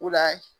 O la